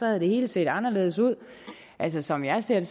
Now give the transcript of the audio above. havde det hele set anderledes ud altså som jeg ser det